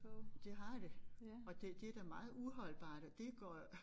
Det har det og det det da meget uholdbart at det går jo